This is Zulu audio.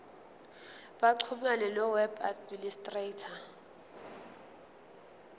baxhumane noweb administrator